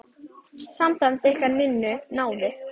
Samband ykkar Ninnu náið.